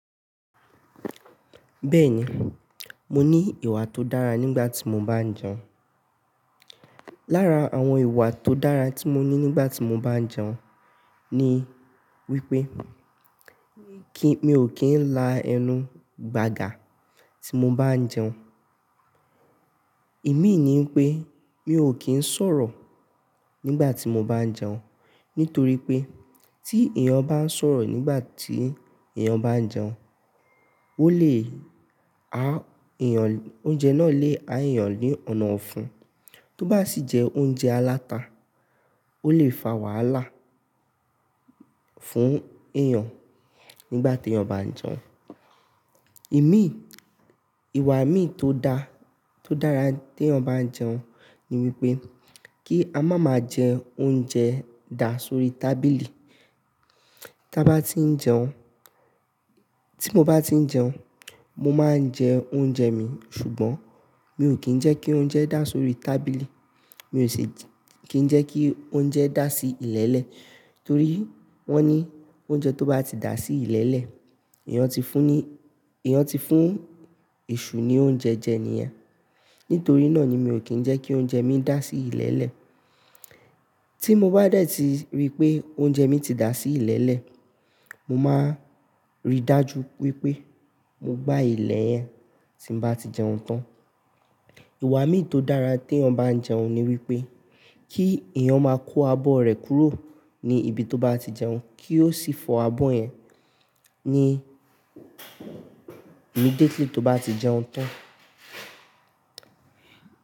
Bẹ́ẹ̀ni, mo ní ìwà tó dára nígbà tí mo bá ń jẹun. Lára àwọn ìwà tó dára tí mo ní nígbà tí mo bá ń jẹun ni wípé kí-- mi ò kín lá ẹnu gbagà tí mo bá ń jẹun. Ìmí ní pé mi ò kín sọ̀rọ̀ nígbà tí mo bá ń jẹun, nítorí pé tí èèyàn bá ń sọ̀rọ̀ nígbà tí èèyàn bá ń jẹun, ó lè ha èèyàn-- oúnjẹ náà lè ha èèyàn ní ọ̀nà ọ̀fun. Tó bá sì jẹ oúnjẹ aláta, ó lè fa wàhálà fún èèyàn nígbà tí èèyàn bá ń jẹun. Ìmí, ìwà ìmí tó dára nípé ká má máa jẹ oúnjẹ dà sórí tábìlì. Tí a bá tí ń jẹun, tí mo bá tí ń jẹun, mo máa ń jẹ oúnjẹ mi, ṣùgbọ́n mi ò kín jẹ́ kí oúnjẹ dà sórí tábìlì. Tó ń jẹ́ kí oúnjẹ dà sí ilẹ̀lẹ̀ torí wọ́n ní oúnjẹ tó bá ti dà sí ilẹ̀lẹ̀ èèyàn ti fún èṣù ní oúnjẹ jẹ nìyẹn. Nítorí náà ni mi ò kín jẹ́ kí oúnjẹ mi dà sí ilẹ̀lẹ̀. Tí mo bá dẹ̀ tiri wípé oúnjẹ mi ti dà sí ilẹ̀lẹ̀ mo máa rí dájú wípé mo gbá ilẹ̀ yẹn tí mo bá ti jẹun tán ìwà mìí tó dára tí èèyàn bá ń jẹun ni wípé kí èèyàn máa kó abọ́ rẹ̀ kúrò ní ibi tó bá ti jẹun kí ó sì fọ abọ́ yẹn. Ní immediately tó bá ti jẹun tán.